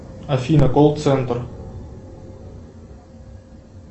афина колл центр